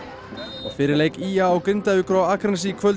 og fyrir leik í a og Grindavíkur á Akranesi í kvöld